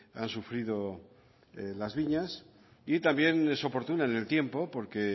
han sufrido las viñas y también es oportuna en el tiempo porque